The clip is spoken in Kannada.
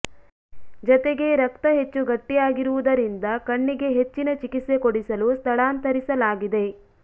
ಜತೆಗೆ ರಕ್ತ ಹೆಚ್ಚು ಗಟ್ಟಿಯಾಗಿರುವುದರಿಂದ ಕಣ್ಣಿಗೆ ಹೆಚ್ಚಿನ ಚಿಕಿತ್ಸೆ ಕೊಡಿಸಲು ಸ್ಥಳಾಂತರಿಸಲಾಗಿದೆ